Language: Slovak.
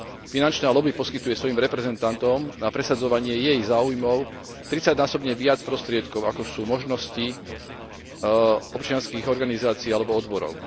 Finančná loby poskytuje svojim reprezentantom na presadzovanie jej záujmov 30 násobne viac prostriedkov, ako sú možnosti občianskych organizácií alebo odborov.